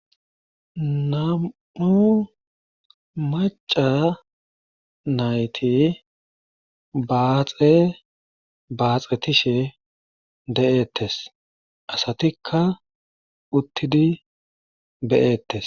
Nam7u macca nayti baaxe baaxetishe de7eetees asatikka uttidi be7eetees.